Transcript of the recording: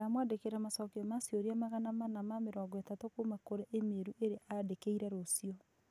Ndamwandĩkĩra macokio ma ciũria 430 kuuma kũrĩ e-mail ĩrĩa aandĩkĩire rũciũ.